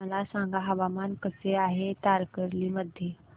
मला सांगा हवामान कसे आहे तारकर्ली मध्ये